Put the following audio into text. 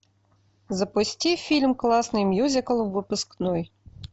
запусти фильм классный мюзикл выпускной